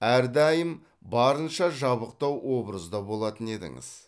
әрдайым барынша жабықтау образда болатын едіңіз